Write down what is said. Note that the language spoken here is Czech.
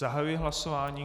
Zahajuji hlasování.